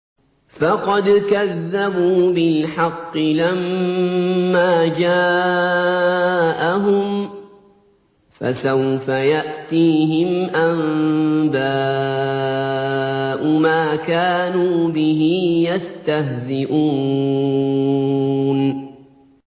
فَقَدْ كَذَّبُوا بِالْحَقِّ لَمَّا جَاءَهُمْ ۖ فَسَوْفَ يَأْتِيهِمْ أَنبَاءُ مَا كَانُوا بِهِ يَسْتَهْزِئُونَ